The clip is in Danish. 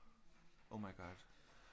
Oh my god